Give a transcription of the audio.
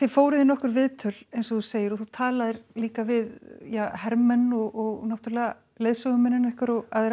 fóruð í nokkur viðtöl eins og þú segir og þú talaðir líka við hermenn og leiðsögumennina ykkar